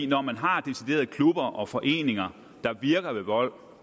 når man har deciderede klubber og foreninger der virker ved vold